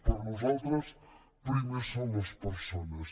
per nosaltres primer són les persones